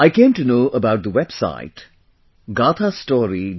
I came to know about the website 'Gathastory